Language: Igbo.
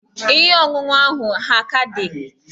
Ihe ọṅụṅụ ahụ ha a ka dị?